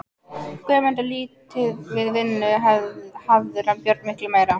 Guðmundur lítið við vinnu hafður en Björn miklu meira.